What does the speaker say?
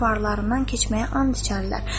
balarından keçməyə and içərlər.